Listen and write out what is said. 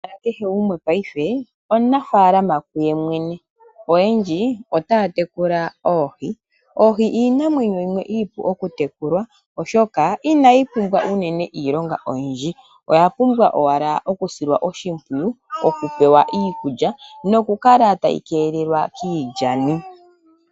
Kehe gumwe paife omunafalaama kuye mwene oyendji otaya tekula oohi, oohi iinamwenyo yimwe iipu oku tekulwa oshoka inayi pumbwa unene iilonga oyindji oya pumbwa owala oku silwa oshimpwiyu, oku pewa iikulya noshowo noku kala tayi keelelwa kiilyani.